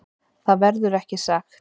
Það verður ekki sagt.